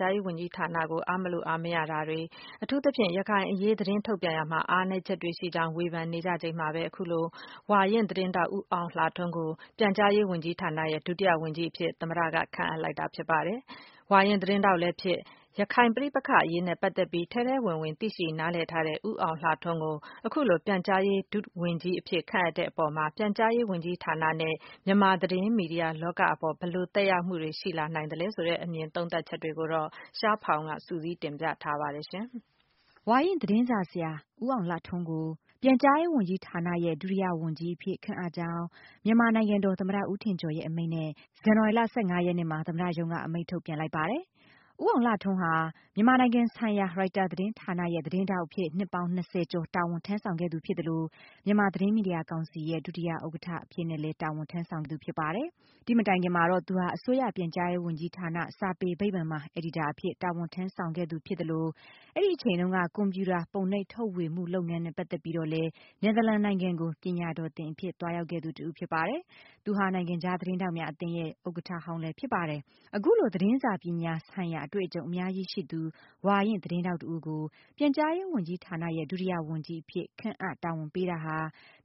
ကြားရေးဝန်ကြီးဌာနကို အားမလိုအားမရဖြစ်မှုတွေ အထူးသဖြင့် ရခိုင်ပဋိပက္ခအရေးနဲ့ပတ်သက်ပြီး သတင်းထုတ်ပြန်ရာမှာ အားနည်းချက်တွေရှိနေကြောင်း ဝေဖန်မှုတွေရှိနေချိန်မှာပဲဝါရင့်သတင်းထောက်တဦးဖြစ်တဲ့ ဦးအောင်လှထွန်းကို ပြန်ကြားရေးဝန်ကြီးဌာနရဲ့ ဒုတိယ ဝန်ကြီးအဖြစ် သမ္မတ က ခန့်အပ်လိုက်ပါတယ်။ ဝါရင့်သတင်းထောက်လည်းဖြစ် ရခိုင်ပဋိပက္ခအရေးနဲ့ပတ်သက်ပြီး ထဲထဲဝင်ဝင် သိရှိနားလည်းထားတဲ့ ဦးအောင်လှထွန်းကို အခုလို ပြန်ကြားရေး ဒုဝန်ကြီး အဖြစ်ခန့်အပ်တဲ့အပေါ် ပြန်ကြားရေးဝန်ကြီးဌာနနဲ့ မြန်မာ့သတင်းမီဒီယာ လောကအပေါ် ဘယ်လို သက်ရောက်မှုတွေရှိလာနိုင်သလဲ ဆိုတဲ့ အမြင်သုံးသပ်ချက်တွေကို ရှားဖောင်က စုစည်း တင်ပြပေးထားပါတယ်။ ဝါရင့်သတင်းစာဆရာ ဦးအောင်လှထွန်းကို ပြန်ကြားရေးဝန်ကြီးဌာနရဲ့ ဒုတိယ ဝန်ကြီးအဖြစ် ခန့်အပ်ကြောင်း မြန်မာ နိုင်ငံတော် သမ္မတ ဦးထင်ကျော်ရဲ့ အမိန့်နဲ့ ဇန်ဝါရီလ ၁၅ ရက်နေ့မှာ သမ္မတရုံးက အမိန့်ထုတ်ပြန်လိုက်ပါတယ်။ ဦးအောင်လှထွန်းဟာ မြန်မာနိုင်ငံဆိုင်ရာ ရိုက်တာ သတင်းဌာနရဲ့ သတင်းထောက်အဖြစ် နှစ်ပေါင်း ၂၀ ကျော် တာဝန်ထမ်းဆောင်ခဲ့သူဖြစ်သလို မြန်မာသတင်းမီဒီယာ ကောင်စီရဲ့ ဒုတိယ ဥက္ကဌအဖြစ်နဲ့လည်း တာဝန်ထမ်းဆောင်သူဖြစ်ပါတယ်။ ဒီ့မတိုင်ခင်မှာတော့ သူဟာ အစိုးရပြန်ကြားရေးဝန်ကြီးဌာန စာပေဗိမာန်မှာ အယ်ဒီတာ အဖြစ် တာဝန်ထမ်းဆောင်ခဲ့သူသလို အဲဒီအချိန်တုန်းက ကွန်ပြူတာ ပုံနှိပ်ထုတ်ဝေမှုလုပ်ငန်းနဲ့ပတ်သက်ပြီးတော့လည်း နယ်သာလန် နိုင်ငံကို ပညာတော်သင်အဖြစ် သွားရောက်ခဲ့သူတဦးဖြစ်ပါတယ်။ သူဟာ နိုင်ငံခြား သတင်းထောက် များ အသင်းရဲ့ ဥက္ကဌ ဟောင်းလည်းဖြစ်ပါတယ်။ အခုလို သတင်းစာပညာ ဆိုင်ရာ အတွေ့အကြုံ အများကြီး ရှိသူ၊ ဝါရင့် သတင်းထောက်တဦးကို ပြန်ကြားရေး ဝန်ကြီးဌာနရဲ့ ဒုတိယ ဝန်ကြီးအဖြစ် ခန့်အပ်တာဝန်ပေးတာဟာ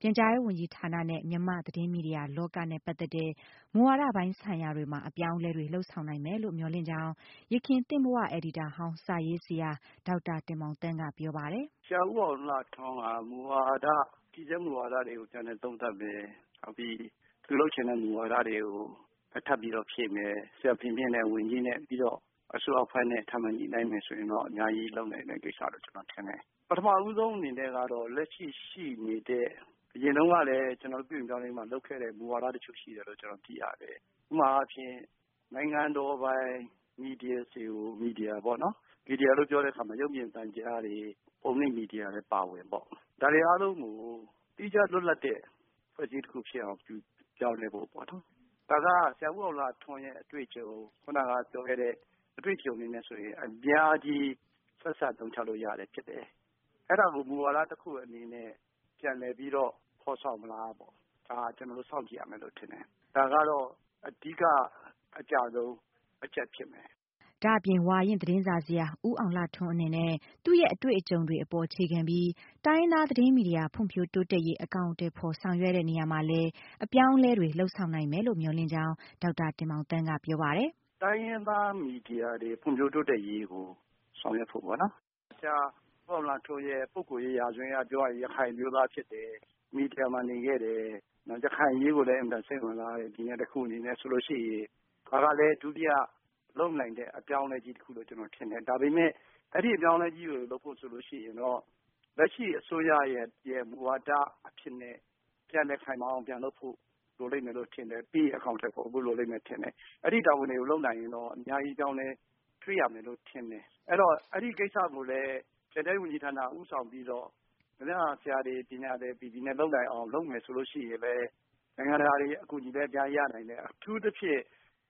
ပြန်ကြားရေးဝန်ကြီးဌာနနဲ့ မြန်မာ့သတင်းမီဒီယာလောကနဲ့ပတ်သက်တဲ့ မူဝါဒပိုင်းဆိုင်ရာတွေမှာ အပြောင်းအလဲတွေ လုပ်ဆောင်နိုင်မယ်လို့မျှော်လင့်ကြောင်း ယခင်သင့်ဘဝအယ်ဒီတာဟောင်း စာရေးဆရာ ဒေါက်တာ တင်မောင်သန်းကပြောပါတယ်။ “ဆရာဦးအောင်လှထွန်းက တည်ဆဲမှုဝါဒတွေကိုလေ့လာသုံးသပ်တယ်။ နောက်ပြီး သူလုပ်ချင်တဲ့ မူဝါဒတွေကို ထပ်ပြီးတော့ ဖြည့်မယ် ဆရာဖေမြင့် ဝန်ကြီးနဲ့ အစိုးရအဖွဲ့နဲ့ ထပ်ညှိနှိုင်းမယ်ဆိုရင်တော့ အများကြီးလုပ်နိုင်မယ့် ကိစ္စလို့ ကျနော်ထင်တယ်။ ပထမဦးဆုံးအနေနဲ့ကတော့ လက်ရှိရှိနေတဲ့ အရင်တုန်းကလည်း ပြုပြင်ပြောင်းလဲရေးမှာ လုပ်ခဲ့တဲ့ မူဝါဒ တချို့ရှိတယ်လို့ ကျနော်သိရတယ်လေ။ ဥပမာအားဖြင့် နိုင်ငံတော်ပိုင် မီဒီယာတွေပေါ့နော် မီဒီယာလို့ပြောတဲ့အခါမှာ ရုပ်မြင်သံကြားတွေ ပုံနှိပ်မီဒီယာလည်း အပါအဝင်ပေါ့ ဒါတွေအားလုံးကို သီးခြားလွတ်လပ်တဲ့ အဖွဲ့အစည်းတခုဖြစ်အောင် ပြောင်းလဲဖို့ပေါ့နော်။ ဒါက ဆရာဦးအောင်လှထွန်းရဲ့ အတွေ့အကြုံ ခုနကပြောတဲ့ အတွေ့အကြုံတွေနဲ့ဆိုရင် အများကြီး ဆက်စပ်အသုံးချလို့ရတာဖြစ်တယ်။ အဲဒါကို မူဝါဒ တခုအနေနဲ့ ပြန်လည်ပြီးတော့ ဖော်ဆောင်မလားပေ့ါ ဒါကို ကျနော်တို့ စောင့်ကြည့်ရမယ်ထင်တယ်။ ဒါကတော့ အဓိက အကျဆုံးအချက်ဖြစ်မယ်။” ဒါ့အပြင် ဝါရင့် သတင်းစာဆရာ ဦးအောင်လှထွန်းအနေနဲ့ သူ့ရဲ့ အတွေ့အကြုံတွေအပေါ်အခြေခံပြီး တိုင်းရင်းသား သတင်းမီဒီယာ ဖွံ့ဖြိုးတိုးတက်ရေး အကောင်အထည်ဖော် ဆောင်ရွက်တဲ့နေရမှာလည်း အပြောင်းအလဲတွေလုပ်ဆောင်နိုင်မယ်လို့ မျှော်လင့်ကြောင်း ဒေါက်တာ တင်မောင်သန်းက ပြောပါတယ်။ “တိုင်းရင်းသား သတင်းမီဒီယာတွေ ဖွံ့ဖြိုးတိုးတက်ရေးကိုဆောင်ရွက်ဖို့ပေါ့နော် ဆရာဦးအောင်လှထွန်းရဲ့ ပုဂ္ဂိုလ်ရေး ရာဇဝင်အရပြောရရင် ရခိုင်အမျိုးသားဖြစ်တယ်။ ရခိုင်အရေးကိုလည်း အင်မတန်မှ စိတ်ဝင်စားတဲ့ လူတဦး ဒါအနေနဲ့ဆိုရင် ဒါကလည်း ဒုတိယလုပ်နိုင်တဲ့ အပြောင်းအလဲကြီးတခုလို့ ကျနော်ထင်တယ်။ ဒါပေမယ့် အဲဒီအပြောင်းအလဲကြီးကို လုပ်ဖို့ဆိုရင် လက်ရှိအစိုးရရဲ့ မူဝါဒအဖြစ်နဲ့ ပြန်လည်ခိုင်မာအောင်လုပ်ဖို့ လိုလိမ့်မယ်လို့ ထင်တယ်။ ပြီးရင် အကောင်အထည်ဖော်ဖို့ လိုလိမ့်မယ်လို့ ထင်တယ်။ အဲဒီတာဝန်တွေကို လုပ်နိုင်ရင်တော့ အများကြီးအပြောင်းအလဲ တွေ့ရမယ်လို့တော့ ထင်တယ်။ အဲဒီတော့ အဲဒီကိစ္စကိုလည်း ပြန်ကြားရေးဝန်ကြီးဌာနက ဦးဆောင်ပြီးတော့ သတင်းစာဆရာတွေ ပြေပြေလည်လည်နဲ့ လုပ်နိုင်မယ်ဆိုရင် နိုင်ငံတကာအကူအညီတွေလည်း အများကြီးရနိုင်မယ်။ အထူးသဖြင့်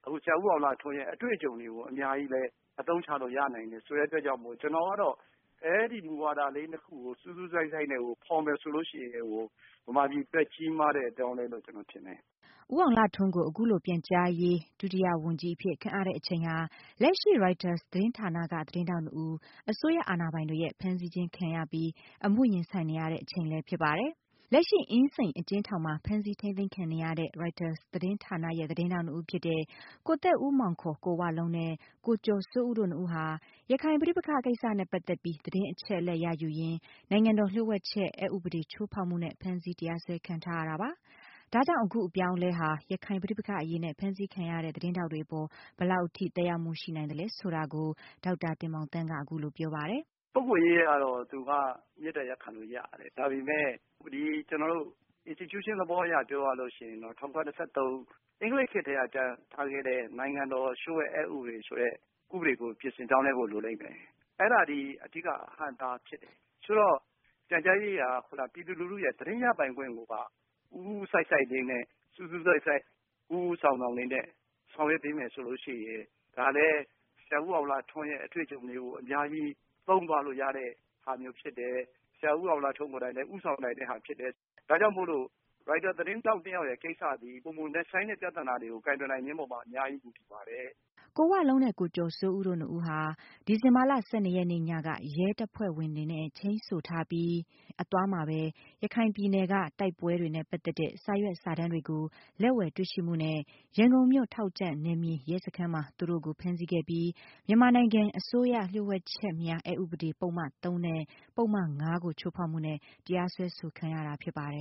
ဆရာဦးအောင်လှထွန်းရဲ့ အတွေ့အကြုံတွေကိုလည်း အများကြီးအသုံးချလို့ ရနိုင်တယ်ဆိုတဲ့အတွက်ကြောင့်မို့လို့ ကျနေ်ာကတော့ အဲဒီမူဝါဒလေး ၂ ခုကို စူးစူးစိုက်စိုက်နဲ့ကို ဖော်မယ်ဆိုရင် မြန်မာပြည်အတွက် ကြီးမားတဲ့အပြောင်းအလဲလို့ ကျနော်ထင်တယ်။” ဦးအောင်လှထွန်းကို အခုလို ပြန်ကြားရေး ဒုတိယ ဝန်ကြီးအဖြစ် ခန့်အပ်တဲ့အချိန်ဟာ လက်ရှိ ရိုက်တာသတင်းဌာနက သတင်းထောက် နှစ်ဦး အစိုးရ အာဏာပိုင်တွေရဲ့ ဖမ်းဆီးခြင်းခံရပြီး၊ အမှုရင်ဆိုင်နေရတဲ့ အချိန်လည်းဖြစ်ပါတယ်။ လက်ရှိ အင်းစိန်အကျဉ်းထောင်ထဲမှာ ဖမ်းဆီးထိန်းသိမ်းခံနေရတဲ့ ရိုက်တာ သတင်းဌာနရဲ့ သတင်းထောက်နှစ်ဦးဖြစ်တဲ့ ကိုသက်ဦးမောင် ကိုဝလုံးနဲ့ ကိုကျော်စိုးဦးတို့နှစ်ဦးဟာ ရခိုင်ပဋိပက္ခကိစ္စနဲ့ပတ်သက်ပြီး သတင်းချက်အလက်ရ ယူရင်း နိုင်ငံတော်လျှို့ဝှက်ချက် အက်ဥပဒေ ချိုးဖောက်မှု နဲ့ ဖမ်းဆီးတရားစွဲခံထားရတာပါ။ ဒါကြောင့် အခုအပြောင်းအလဲဟာ ရခိုင်ပဋိပက္ခအရေးနဲ့ ဖမ်းဆီးခံရတဲ့ သတင်းထောက်တွေအပေါ် ဘယ်လောက်အထိ သက်ရောက်မှုရှိနိုင်သလဲဆိုတာကို ဒေါက်တာ တင်မောင်သန်းက အခုလို ပြောပါတယ်။ “ပုဂ္ဂိုလ်ရေးအရကတော့ သူက မေတ္တာရပ်ခံလို့ရတယ်။ ဒါပေမယ့် ကျနော်တို့ Institution အရပြောရမယ်ဆိုရင် ၁၉၂၃ အင်္ဂလိပ်ခေတ်ကလည်းကထားခဲ့တဲ့ နိုင်ငံတော်လျှို့ဝှက်ချက် အက်ဥပဒေ ကိုပြင်ဆင်ပြောင်းလဲဖို့ လိုလိမ့်မယ်။ အဲဒါက အဓိကအဟန့်အတားဖြစ်တယ်။ ဆိုတော့ ပြန်ကြားရေးက ပြည်သူလူထုရဲ့က သတင်းရယူခွင့်ကိုပါ စူးစူးစိုက်စိုက် ဦးဦးဆောင်ဆောင်လေးနဲ့ ဆောင်ရွက်မယ်ဆိုရင် ဒါကလည်း ဆရာဦးအောင်လှထွန်းရဲ့ အတွေ့အကြုံမျိုး အများကြီး သုံးသွားလို့ ရတာမျိုး ဖြစ်တယ်။ ဆရာဦးအောင်လှထွန်းကိုယ်တိုင်လည်း ဦးဆောင်နိုင်တဲ့ဟာမျိုးဖြစ်တယ်။ ဒါကြောင့်မို့လို့ ရိုက်တာ သတင်းထောက်၂ ယောက်ကိစ္စသည် ပိုမိုနက်ရှိုင်းတဲ့ ပြဿနာတွေမှာ ကိုင်တွယ်နိုင်ခြင်းအပေါ် အများကြီး မူတည်နေပါတယ်။” ကိုဝလုံးနဲ့ ကိုကျော်စိုးဦးတို့နှစ်ဦးဟာ ဒီဇင်ဘာလ ၁၂ ရက်နေ့ညက ရဲတပ်ဖွဲ့တွေနဲ့ ချိန်းဆိုထားပြီး အသွားမှာပဲ ရခိုင်ပြည်နယ်က တိုက်ပွဲတွေနဲ့ ပတ်သက်တဲ့ စာရွက်စာတမ်းတွေကို လက်ဝယ်တွေ့ရှိမှုနဲ့ ရန်ကုန်မြို့ ထောက်ကြန့် နယ်မြေရဲစခန်းမှာ သူတို့ကို ဖမ်းဆီးခဲ့ပြီး၊ မြန်မာနိုင်ငံအစိုးရလျှို့ဝှက်ချက်များအက်ဥပဒေ ပုဒ်မ ၃ နဲ့ ပုဒ်မ ၅ ကို ချိုးဖောက်မှုနဲ့ တရားစွဲဆိုခံရတာဖြစ်ပါတယ်